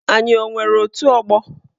Anyị o nwere otù ọgbọ?